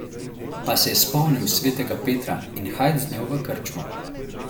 Pa se je spomnil svetega Petra, in hajd z njo v krčmo.